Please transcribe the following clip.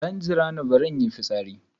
Dan jirani, bari in yi fitsari.